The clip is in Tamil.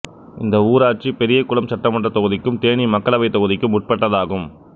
இந்த ஊராட்சி பெரியகுளம் சட்டமன்றத் தொகுதிக்கும் தேனி மக்களவைத் தொகுதிக்கும் உட்பட்டதாகும்